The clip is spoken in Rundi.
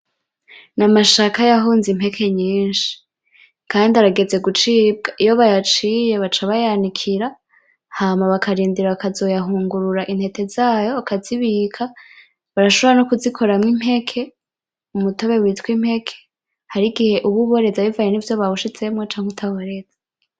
Mama Shaka yahonze impeke nyinshi. Kandi arageze gucibwa. Iyo bayaciye baca bayanikira hama bakarindira bakazoyahungurura intete zayo bakazibika. Barashobora nokuzikoramwo impeke. Umutobe witwa impeke. Hari igihe uba uboreza bivanye nivyo bawushizemwo canke utaboreza.